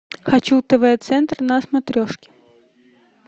хочу тв центр на смотрешке